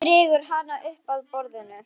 Hann dregur hana upp að borðinu.